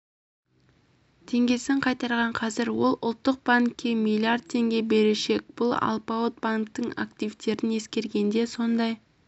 теңгесін қайтарған қазір ол ұлттық банкке миллиард теңге берешек бұл алпауыт банктің активтерін ескергенде сондай